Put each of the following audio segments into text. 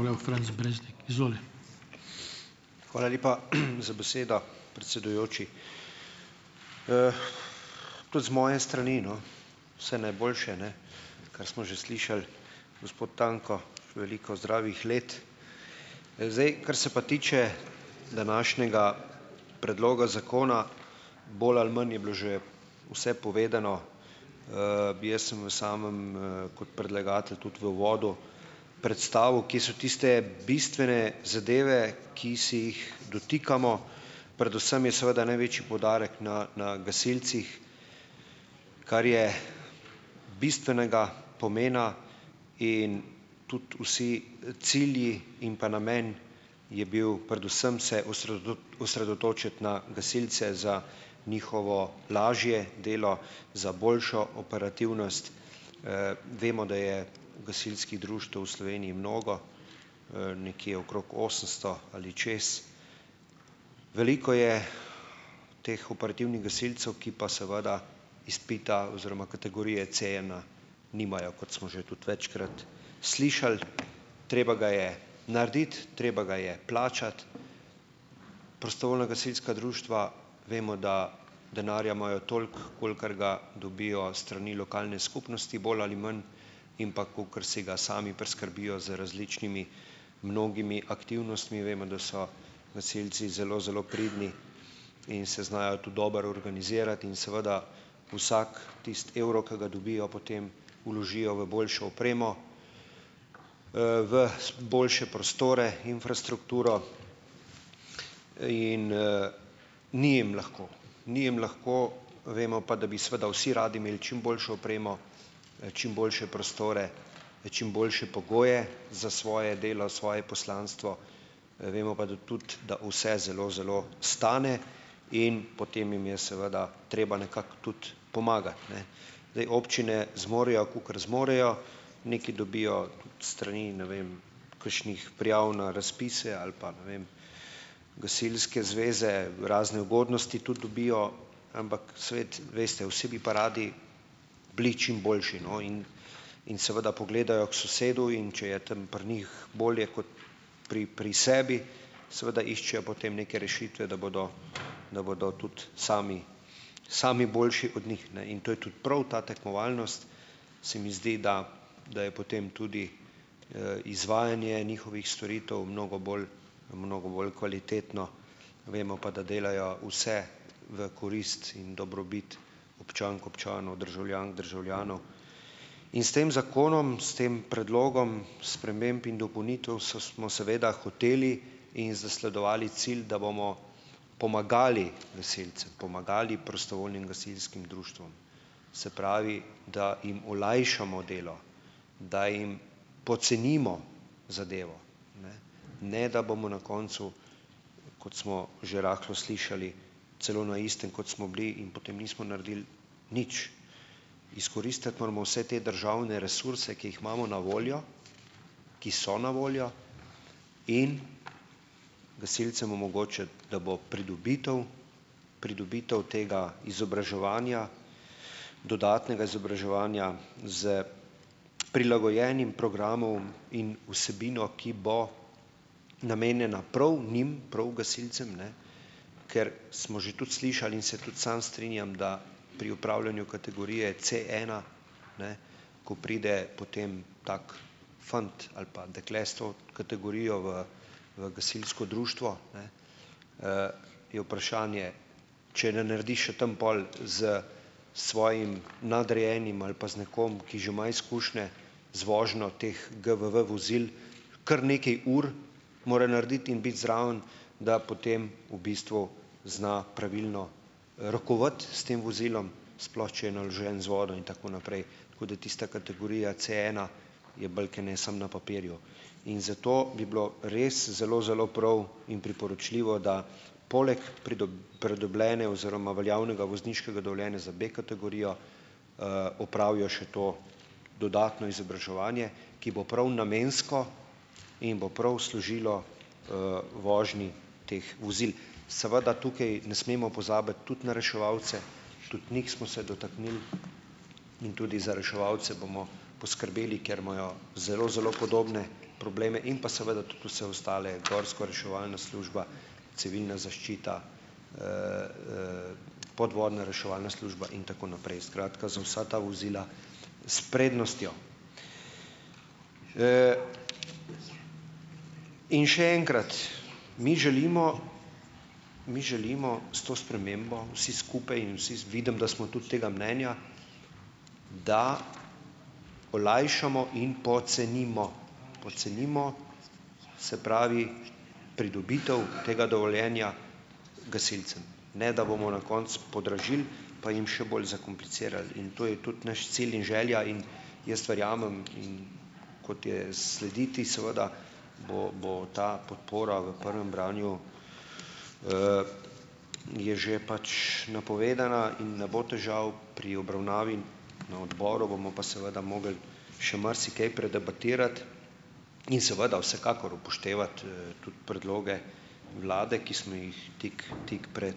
Hvala lepa, za besedo, predsedujoči. Tudi z moje strani, no, vse najboljše, ne kar smo že slišali. Gospod Tanko, veliko zdravih let. Zdaj, kar se pa tiče današnjega predloga zakona, bolj ali manj je bilo že vse povedano, bi jaz sem v samem, kot predlagatelj tudi v uvodu predstavil, kje so tiste bistvene zadeve, ki se jih dotikamo. Predvsem je seveda največji poudarek na na gasilcih, kar je bistvenega pomena, in tudi vsi cilji in pa namen je bil predvsem se osredotočiti na gasilce za njihovo lažje delo, za boljšo operativnost, vemo, da je gasilskih društev v Sloveniji mnogo, nekje okrog osemsto ali čez. Veliko je teh operativnih gasilcev, ki pa seveda izpita oziroma kategorije C ena nimajo, kot smo že tudi večkrat slišali, treba ga je narediti, treba ga je plačati, prostovoljna gasilska društva, vemo, da denarja imajo toliko, kolikor ga dobijo s strani lokalne skupnosti bolj ali manj, in pa kakor si ga sami priskrbijo z različnimi mnogimi aktivnostmi, vemo, da so gasilci zelo, zelo pridni in se znajo tudi dobro organizirati in seveda vsak tisti evro, ki ga dobijo, potem vložijo v boljšo opremo, v boljše prostore, infrastrukturo in, ni jim lahko, ni jim lahko vemo pa, da bi seveda vsi radi imeli čim boljšo opremo, čim boljše prostore, čim boljše pogoje za svoje delo, svoje poslanstvo, vemo pa, da tudi da vse zelo, zelo stane in potem jim je seveda treba nekako tudi pomagati, ne. Zdaj, občine zmorejo, kakor zmorejo, nekaj dobijo s strani, ne vem, kakšnih prijav na razpise ali pa, ne vem, gasilske zveze, razne ugodnosti tudi dobijo, ampak svet, veste vsi, bi pa radi bili čim boljše, no, in in seveda pogledajo k sosedu, in če je tam pri njih bolje kot pri pri sebi, seveda iščejo potem neke rešitve, da bodo, da bodo tudi sami sami boljši od njih, ne, in to je tudi prav ta tekmovalnost, se mi zdi, da da je potem tudi, izvajanje njihovih storitev mnogo bolj, mnogo bolj kvalitetno, vemo pa, da delajo vse v korist in dobrobit občank, občanov, državljank, državljanov. In s tem zakonom s tem predlogom sprememb in dopolnitev smo seveda hoteli in zasledovali cilj, da bomo pomagali gasilcem, pomagali prostovoljnim gasilskim društvom, se pravi, da jim olajšamo delo, da jim pocenimo zadevo, ne da bomo na koncu, kot smo že rahlo slišali, celo na istem, kot smo bili, in potem nismo naredili nič. Izkoristiti moramo vse te državne resurse, ki jih imamo na voljo, ki so na voljo in gasilcem omogočiti, da bo pridobitev pridobitev tega izobraževanja, dodatnega izobraževanja s prilagojenim programom in vsebino, ki bo namenjena prav njim, prav gasilcem, ne, ker smo že tudi slišali, in se tudi sam strinjam, da pri upravljanju kategorije C ena, ne, ko pride potem tak fant ali pa dekle s to kategorijo v v gasilsko društvo, ne, je vprašanje, če ne naredi še tam pol s svojim nadrejenim ali pa z nekom, ki že ima izkušnje z vožnjo teh GVV vozil, kar nekaj ur mora narediti in biti zraven, da potem v bistvu zna pravilno rokovati s tem vozilom, sploh če je naložen z vodo in tako naprej, tako da tista kategorija Cena je bolj kot ne samo na papirju. In zato bi bilo res zelo, zelo prav in priporočljivo, da poleg pridobljene oziroma veljavnega vozniškega dovoljenja za B-kategorijo, opravijo še to dodatno izobraževanje, ki bo prav namensko in bo prav služilo, vožnji teh vozil. Seveda tukaj ne smemo pozabiti tudi na reševalce, tudi njih smo se dotaknili, in tudi za reševalce bomo poskrbeli, ker imajo zelo, zelo podobne probleme, in pa seveda tudi vse ostale gorska reševalna služba, civilna zaščita, podvodna reševalna služba in tako naprej, skratka, za vsa ta vozila s prednostjo. In še enkrat, mi želimo, mi želimo s to spremembo vsi skupaj in vsi vidim, da smo tudi tega mnenja, da olajšamo in pocenimo, pocenimo, se pravi, pridobitev tega dovoljenja gasilcem, ne da bomo na koncu podražili pa jim še bolj zakomplicirali, in to je tudi naš cilj in želja in jaz verjamem, in kot je slediti, seveda bo bo ta podpora v prvem branju, je že pač napovedana in ne bo težav. Pri obravnavi na odboru bomo pa seveda mogli še marsikaj predebatirati in seveda, vsekakor, upoštevati, tudi predloge vlade, ki smo jih tik tik pred,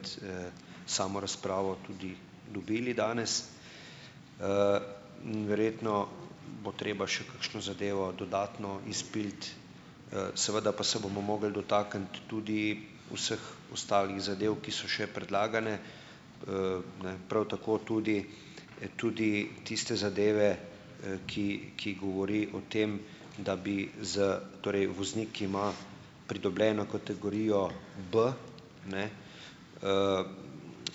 samo razpravo tudi dobili danes. Verjetno bo treba še kakšno zadevo dodatno izpiliti, seveda pa se bomo mogli dotakniti tudi vseh ostalih zadev, ki so še predlagane, ne, prav tako tudi tudi tiste zadeve, ki ki govori o tem, da bi z, torej, voznik, ki ima pridobljeno kategorijo B, ne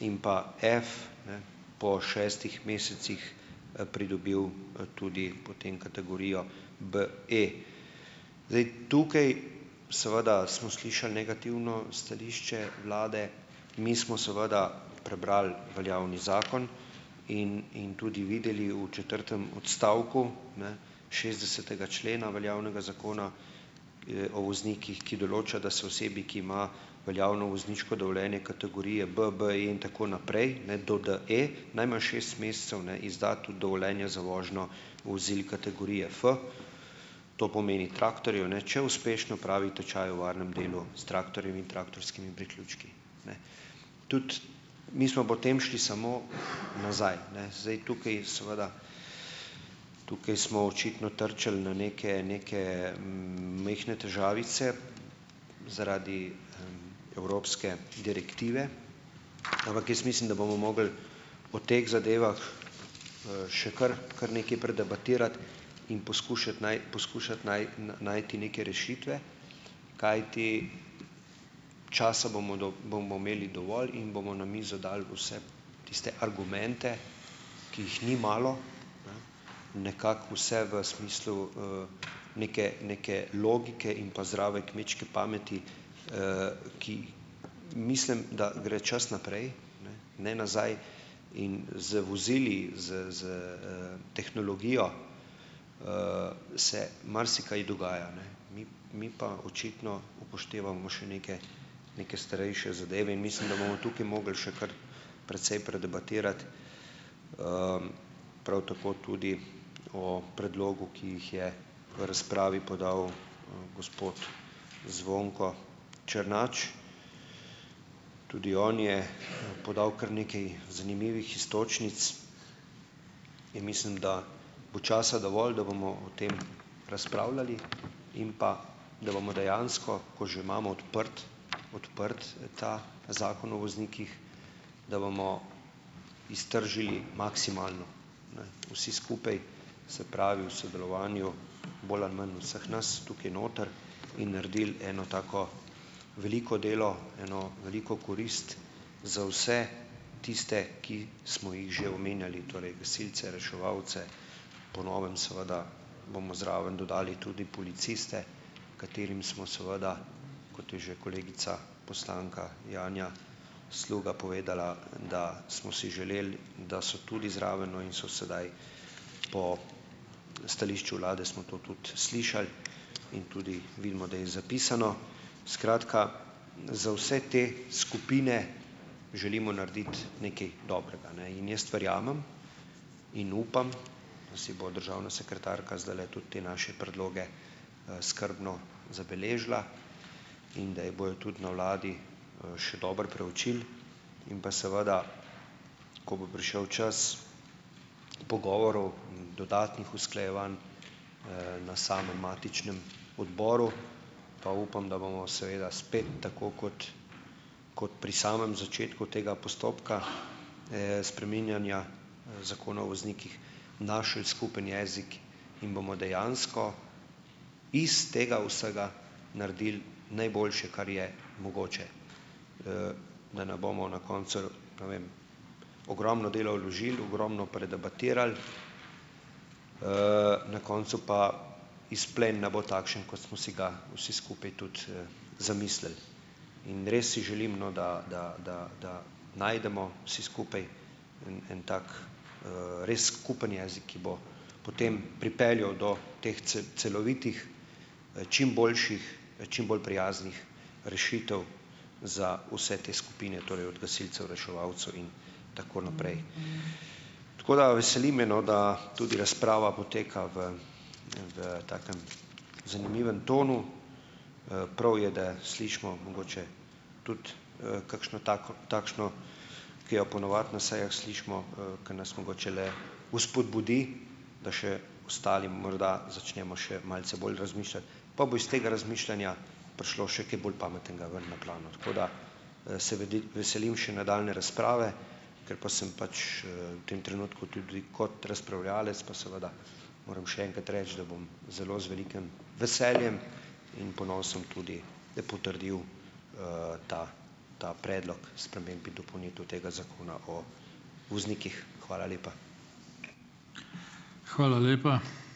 in pa F, ne, po šestih mesecih pridobil tudi potem kategorijo B. Zdaj, tukaj, seveda, smo slišali negativno stališče vlade. Mi smo seveda prebrali veljavni zakon in in tudi videli v četrtem odstavku, ne, šestdesetega člena veljavnega Zakona, o voznikih, ki določa, da se osebi, ki ima veljavno vozniško dovoljenje kategorije B, BE in tako naprej, ne do D, najmanj šest mesecev ne izda tudi dovoljenje za vožnjo vozil kategorije F, to pomeni, traktorjev, ne, če uspešno opravi tečaj o varnem delu s traktorjem in traktorskimi priključki, ne? Tudi mi smo potem šli samo nazaj, ne, zdaj tukaj je seveda, tukaj smo očitno trčili na neke neke majhne težavice zaradi evropske direktive, ampak jaz mislim, da bomo mogli o teh zadevah, še kar kar nekaj predebatirati in poskušati poskušati najti neke rešitve, kajti časa bomo bomo imeli dovolj in bomo na mizo dali vse tiste argumente, ki jih ni malo. Nekako vse v smislu, neke, neke logike in pa zdrave kmečke pameti, ki, mislim, da gre čas naprej, ne nazaj, in z vozili, s s, tehnologijo, se marsikaj dogaja, ne, mi, mi pa očitno upoštevamo še neke neke starejše zadeve in mislim, da bomo tukaj mogli še kar precej predebatirati, prav tako tudi o predlogu, ki jih je v razpravi podal gospod Zvonko Černač. Tudi on je podal kar nekaj zanimivih iztočnic in mislim, da bo časa dovolj, da bomo o tem razpravljali in pa, da bomo dejansko, ko že imamo odprt, odprt ta Zakon o voznikih, da bomo iztržili maksimalno vsi skupaj. Se pravi, v sodelovanju, bolj ali manj, vseh nas, tukaj noter in naredili eno tako veliko delo, eno veliko korist za vse tiste, ki smo jih že omenjali, torej gasilci, reševalci, po novem, seveda, bomo zraven dodali tudi policiste, katerim smo seveda, kot je že kolegica, poslanka Janja Sluga povedala, da smo si želeli, da so tudi zraven. No, in so sedaj, po stališču vlade smo to tudi slišali in tudi vidimo, da je zapisano. Skratka, za vse te skupine želimo narediti nekaj dobrega, ne? In jaz verjamem in upam, da si bo državna sekretarka zdajle tudi te naše predloge, skrbno zabeležila in da jih bojo tudi na vladi še dobro preučili in pa seveda, ko bo prišel čas pogovorov, dodatnih usklajevanj, na samem matičnem odboru, pa upam, da bomo seveda spet, tako kot kot pri samem začetku tega postopka spreminjanja Zakona o voznikih, našli skupen jezik in bomo dejansko, iz tega vsega naredili najboljše, kar je mogoče, da ne bomo na koncu, ne vem, ogromno dela vložili, ogromno predebatirali, na koncu pa izplen ne bo takšen, kot smo si ga vsi skupaj tudi, zamislili, in res si želim, no, da, da, da, da najdemo vsi skupaj en tak, res skupni jezik, ki bo potem pripeljal do teh celovitih, čim boljših, čim bolj prijaznih rešitev za vse te skupine, torej od gasilcev, reševalcev in tako naprej. Tako da veseli me, no, da tudi razprava poteka v v takem zanimivem tonu. Prav je, da slišimo mogoče tudi, kakšno tako takšno, ki jo po navadi na sejah slišimo, ki nas mogoče le vzpodbudi, da še ostali morda začnemo še malce bolj razmišljati, pa bo iz tega razmišljanja prišlo še kaj bolj pametnega ven na plano. Tako da se veselim še nadaljnje razprave. Ker pa sem pač, v tem trenutku tudi kot razpravljavec, pa seveda moram še enkrat reči, da bom zelo z velikim veseljem in ponosom tudi potrdil, ta, ta predlog sprememb in dopolnitev tega Zakona o voznikih. Hvala lepa.